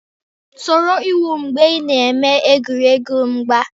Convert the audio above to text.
Soro iwu mgbe ị na-eme egwuregwu mgba